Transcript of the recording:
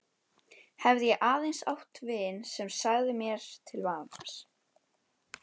Hefði ég aðeins átt vin sem sagði mér til vamms.